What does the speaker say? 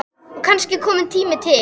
Og kannski kominn tími til.